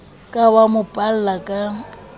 ka wa mo palla ka